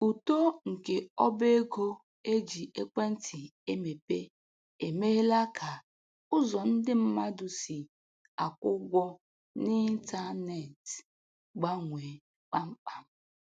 Uto nke ọba ego e ji ekwentị emepe emeela ka ụzọ ndị mmadụ si akwụ ụgwọ n'ịntanetị gbanwee kpamkpam.